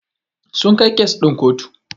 Sun kai kes ɗin kotu Jiya.